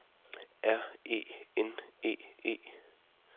R E N E E